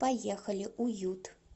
поехали уют